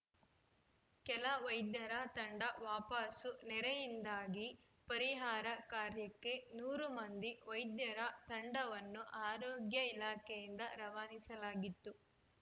ಕೆಲ ವೈದ್ಯರ ತಂಡ ವಾಪಸು ನೆರೆಯಿಂದಾಗಿ ಪರಿಹಾರ ಕಾರ್ಯಕ್ಕೆ ನೂರು ಮಂದಿ ವೈದ್ಯರ ತಂಡವನ್ನು ಆರೋಗ್ಯ ಇಲಾಖೆಯಿಂದ ರವಾನಿಸಲಾಗಿತ್ತು